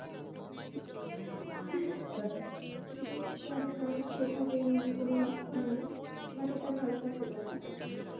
জানিনা আমার সেভাবে কোন লক্ষ্য নাই। but একটা ভালো চাকরি করার আশা আছি।